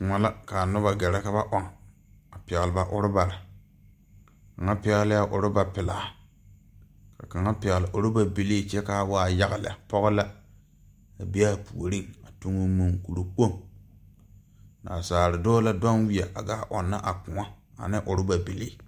Kõɔ la kaa nobɔ gɛrɛ ka ba ɔŋ a pɛgle ba rɔbarre kaŋa pɛglɛɛ rɔba pelaa ka kaŋa pɛgle rɔba bilii kyɛ kaa waa yaga lɛ pɔɔ la a be aa puoriŋ tuŋoo munkuri kpoŋ naasaale dɔɔ la duŋ weɛ a gaa ɔŋnɔ a kõɔ ane rɔba bilii.